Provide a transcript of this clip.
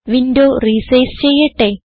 window resize ചെയ്യട്ടെ